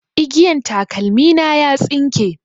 Igiyan takalmi na ya tsinke